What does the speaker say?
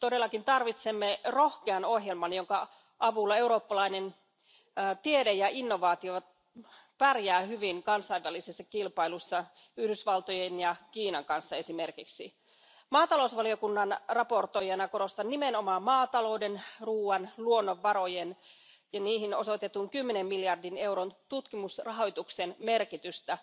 Me todellakin tarvitsemme rohkean ohjelman, jonka avulla eurooppalainen tiede ja innovaatiot pärjäävät hyvin kansainvälisessä kilpailussa esimerkiksi Yhdysvaltojen ja Kiinan kanssa. Maatalousvaliokunnan esittelijänä korostan nimenomaan maatalouden, ruuan, luonnonvarojen ja niihin osoitetun kymmenen miljardin euron tutkimusrahoituksen merkitystä.